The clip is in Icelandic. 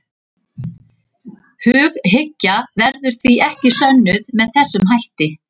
Hughyggja verður því ekki sönnuð með þessum hætti.